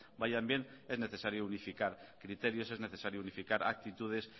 vayan bien es necesario unificar criterios es necesario unificar actitudes